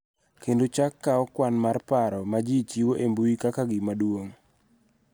Kendo chak kawo kwan mar paro ma ji chiwo e mbui kaka gima duong� .